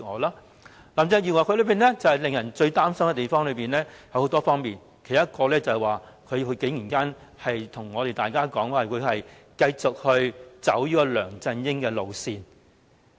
林鄭月娥有數點令人擔心的地方，其中之一便是她竟然告訴我們，她會繼續走梁振英的路線。